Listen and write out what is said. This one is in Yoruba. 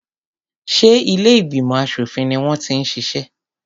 Ṣé ilé ìgbìmọ̀ aṣòfin ni wọ́n ti ń ṣiṣẹ́?